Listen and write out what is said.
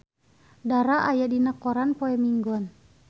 Dara aya dina koran poe Minggon